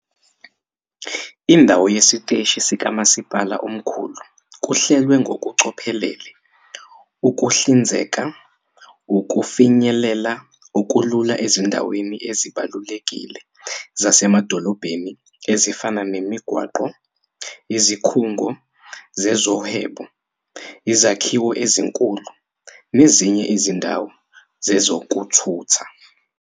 Indawo yesiteshi sikamasipala omkhulu kuhlelwe ngokucophelela ukuhlinzeka ukufinyelela okulula ezindaweni ezibalulekile zasemadolobheni ezifana nemigwaqo, izikhungo zezohwebo, izakhiwo ezinkulu nezinye izindawo zezokuthutha.